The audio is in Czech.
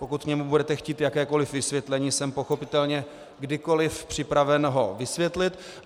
Pokud k němu budete chtít jakékoliv vysvětlení, jsem pochopitelně kdykoliv připraven ho vysvětlit.